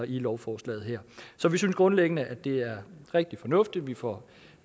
i lovforslaget her så vi synes grundlæggende at det er rigtig fornuftigt vi får